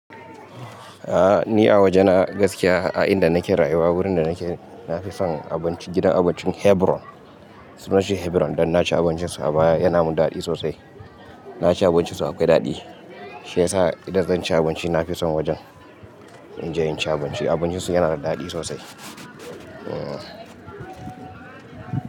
A ni a waje na gaskiya a inda nake rayuwa wurin da nake na fi son abinci gidan abincin Hebron suna shi Hebron dan na ci abincin su a baya yana mun daɗi sosai. Na ci abincin su akwai daɗi shi yasa idan zan ci abinci na fi son wajen in je in ci abinci abincin su yana da daɗi sosai. A.